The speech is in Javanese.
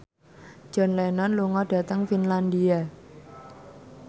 John Lennon lunga dhateng Finlandia